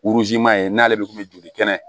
ye n'ale de kun bɛ joli kɛnɛ